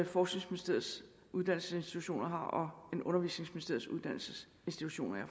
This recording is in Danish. forskningsministeriets uddannelsesinstitutioner og undervisningsministeriets uddannelsesinstitutioner har